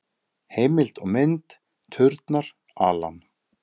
Heimild og mynd: Turnar, Alan.